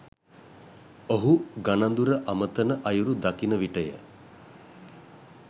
ඔහු ගණඳුර අමතන අයුරු දකින විටය.